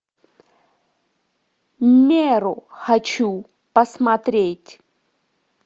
меру хочу посмотреть